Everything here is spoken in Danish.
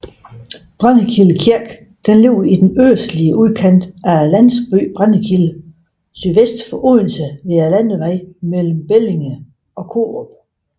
Brændekilde Kirke ligger i den østlige udkant af landsbyen Brændekilde sydvest for Odense ved landevejen mellem Bellinge og Korup